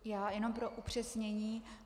Já jenom pro upřesnění.